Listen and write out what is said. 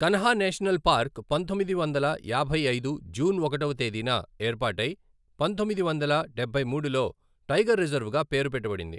Kanha national park పంతొమ్మిది వందల యాభై ఐదు జూన్ ఒకటవ తేదీన ఏర్పాటై పంతొమ్మిది వందల డబ్బై మూడులో టైగర్ రిజర్వ్ గా పేరుపెట్టబడింది.